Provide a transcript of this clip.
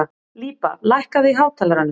Líba, lækkaðu í hátalaranum.